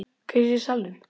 Hver er í salnum?